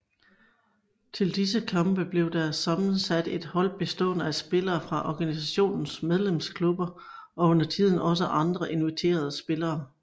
Til disse kampe blev der sammensat et hold bestående af spillere fra organisationens medlemsklubber og undertiden også andre inviterede spillere